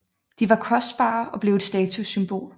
De var kostbare og blev et statussymbol